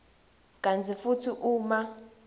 kantsi futsi uma